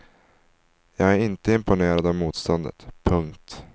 Jag är inte imponerad av motståndet. punkt